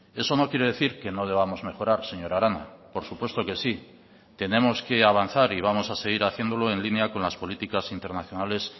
eso no quiere decir que no debamos mejorar señora arana por supuesto que sí tenemos que avanzar y vamos a seguir haciéndolo en línea con las políticas internacionales